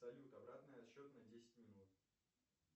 салют обратный отсчет на десять минут